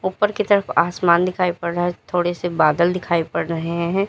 ऊपर की तरफ आसमान दिखाई पड़ रहा है थोड़े से बादल दिखाई पड़ रहे हैं।